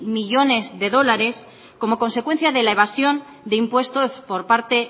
millónes de dólares como consecuencia de la evasión de impuestos por parte